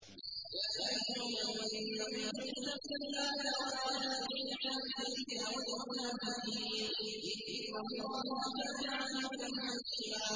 يَا أَيُّهَا النَّبِيُّ اتَّقِ اللَّهَ وَلَا تُطِعِ الْكَافِرِينَ وَالْمُنَافِقِينَ ۗ إِنَّ اللَّهَ كَانَ عَلِيمًا حَكِيمًا